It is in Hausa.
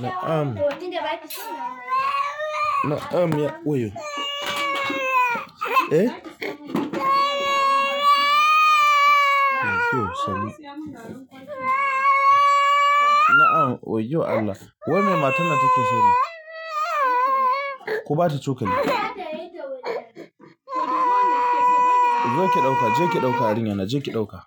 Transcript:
Na am, na am ya wuyo. Na am wayo Allah. Wai me matar nan take so ne? Ku ba ta cokali. Je ki ɗauka, je ki ɗauka yarinyar na, je ki ɗauka.